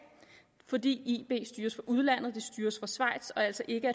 fordi ib styres fra udlandet det styres fra schweiz og altså ikke